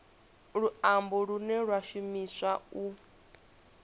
luambo lune lwa shumiswa u